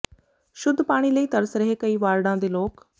ਸ਼ੁਧ ਪਾਣੀ ਲਈ ਤਰਸ ਰਹੇ ਕਈ ਵਾਰਡਾਂ ਦੇ ਲੋਕ